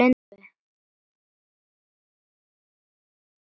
Elsku Einar afi.